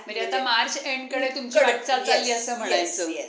entertainment साठी मी